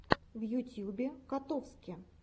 в ютьюбе котовски